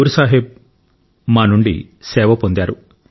గురు సాహిబ్ మా నుండి సేవ పొందారు